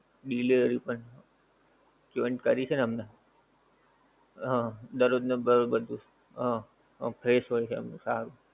delivery પણ join કરી છે ને હમણાં હા દરરોજ ને દરરોજ નું બધુ હા fresh હોય ત્યાંનું સારું